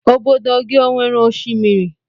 Ọbọdọ gị ọ nwere oshimiri?